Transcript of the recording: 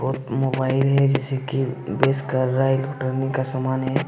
और मोबाइल है जैसे की बेस कर रहा है इलेक्ट्रॉनिक् का सामान है।